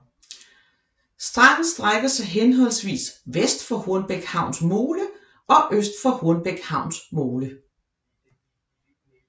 Stranden strækker sig henholdvis vest for Hornbæk Havns mole og øst for Hornbæk Havns mole